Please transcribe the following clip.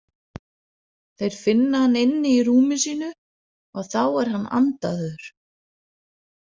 Þeir finna hann inni í rúmi sínu og þá er hann andaður.